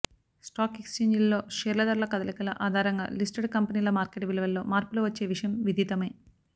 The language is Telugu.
స్టాక్ ఎక్స్ఛేంజీలలో షేర్ల ధరల కదలికల ఆధారంగా లిస్టెడ్ కంపెనీల మార్కెట్ విలువలో మార్పులు వచ్చే విషయం విదితమే